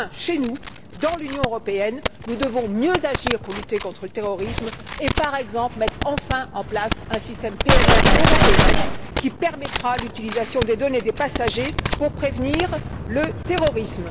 Enfin, chez nous, dans l'Union européenne, nous devons mieux agir pour lutter contre le terrorisme et, par exemple, mettre enfin en place un système PNR européen qui permettra l'utilisation des données des passagers pour prévenir le terrorisme.